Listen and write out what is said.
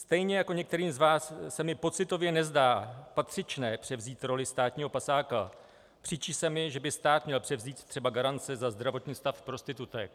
Stejně jako některým z vás se mi pocitově nezdá patřičné převzít roli státního pasáka, příčí se mi, že by stát měl převzít třeba garance za zdravotní stav prostitutek.